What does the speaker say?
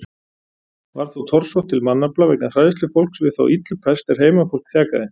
Varð þó torsótt til mannafla vegna hræðslu fólks við þá illu pest er heimafólk þjakaði.